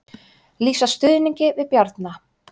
Lýsa stuðningi við Bjarna